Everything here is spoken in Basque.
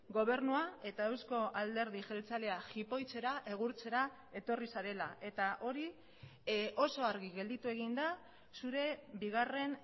gobernua eta euzko alderdi jeltzalea jipoitzera egurtzera etorri zarela eta hori oso argi gelditu egin da zure bigarren